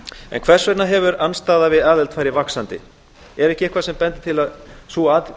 en hvers vegna hefur andstaða við aðild farið vaxandi er eitthvað sem bendir til að sú